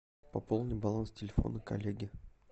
пополни баланс телефона коллеги